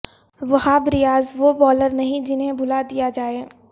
وہاب ریاض وہ بولر نہیں جنھیں بھلا دیا جائے